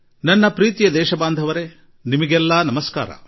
ನನ್ನ ಆತ್ಮೀಯ ದೇಶವಾಸಿಗಳೇ ನಿಮ್ಮೆಲ್ಲರಿಗೂ ನನ್ನ ನಮಸ್ಕಾರ